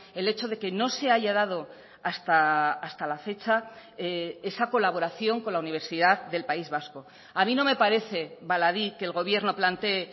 el hecho de que no se haya dado hasta la fecha esa colaboración con la universidad del país vasco a mí no me parece baladí que el gobierno plantee